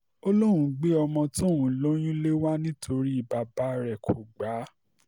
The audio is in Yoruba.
ó lóun gbé ọmọ tóun lóyún lé wa nítorí bàbá rẹ̀ kò gbà á